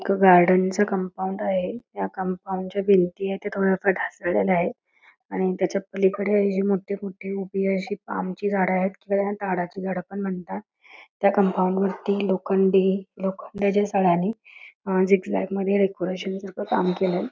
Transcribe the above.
एका गार्डनच कंपाऊंड आहे त्या कोंपौंडच्या भिंती आहेत त्या थोडस ढासळलेल आहेत आणि त्याच्या पलीकडे आशे मोठी मोठी पाल्म ची झाडं आहेत याला झाडं पण म्हणतात त्या कंपाऊंड वरती लोखंडी लोखंडच्या सळयाणी डेकोरेशन सारख काम केलय|